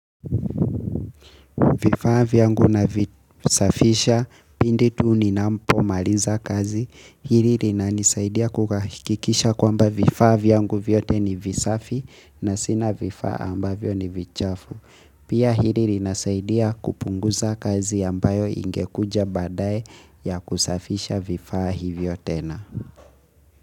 Vifaa vyangu na visafisha pindi tuu ninampo mariza kazi. Hili rinanisaidia kukakikisha kwamba vifaa vyangu vyote ni visafi na sina vifaa ambavyo ni vichafu. Pia hili rinasaidia kupunguza kazi ambayo ingekuja badaye ya kusafisha vifaa hivyo tena.